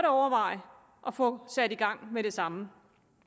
overveje at få sat i gang med det samme